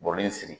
Bɔrɔ in sigi